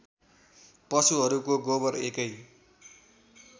पशुहरूको गोबर एकै